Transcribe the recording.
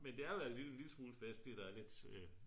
men det er jo alligevel lidt festligt at der er lidt ja